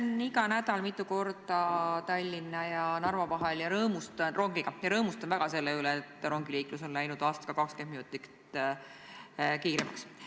Sõidan igal nädalal mitu korda Tallinna ja Narva vahel rongiga ja rõõmustan väga selle üle, et rongiliiklus on läinud aastaga 20 minutit kiiremaks.